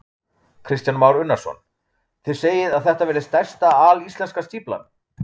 Kristján Már Unnarsson: Þið segið að þetta verði stærsta alíslenska stíflan?